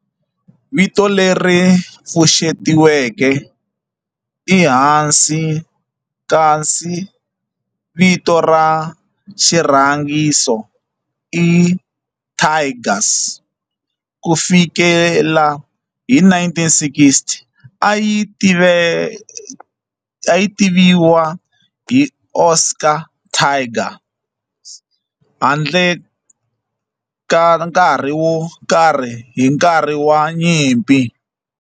Vito leri pfuxetiweke i Hanshin kasi vito ra xirhangiso i Tigers. Ku fikela hi 1960, a yi tiviwa Osaka Tigers handle ka nkarhi wo karhi hi nkarhi wa nyimpi.